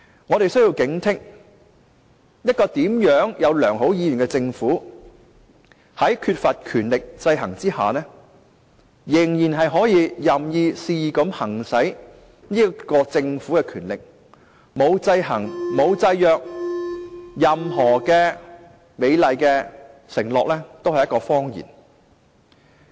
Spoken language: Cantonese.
我們需要警惕，一個政府，無論它有甚麼良好意願，在缺乏權力制衡之下，仍可任意、肆意地行使其權力；在沒有制衡和制約之下，任何美麗承諾皆是謊言。